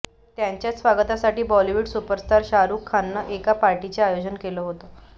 त्यांच्याच स्वागतासाठी Bollywood superstar Shahrukh खाननं एका पार्टीचं आयोजन केलं होतं